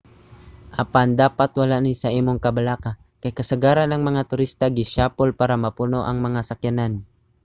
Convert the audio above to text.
apan dapat wala ni sa imong kabalaka kay kasagaran ang mga turista gisiyapol para mapuno ang mga sakyanan